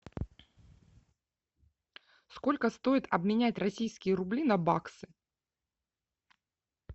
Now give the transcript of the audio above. сколько стоит обменять российские рубли на баксы